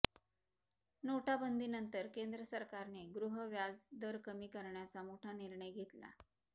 नोटाबंदीनंतर केंद्र सरकारने गृह व्याज दर कमी करण्याचा मोठा निर्णय घेतला